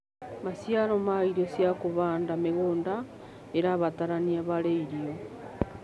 Macĩaro ma ĩrĩo cĩa kũhanda mĩgũnda ĩrabataranĩa harĩ ĩrĩo